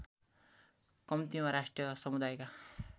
कम्तीमा राष्ट्रिय समुदायका